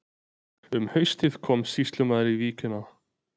Um haustið kom sýslumaður í víkina.